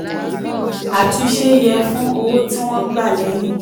àtúnṣe yẹ fún owó tí wọ́n gbà lẹ́yìn.